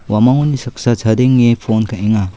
uamangoni saksa chadenge pon ka·enga.